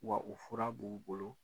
Wa u fɔra b'u bolo